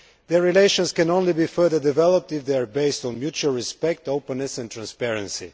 Their relations can only be further developed if they are based on mutual respect, openness and transparency.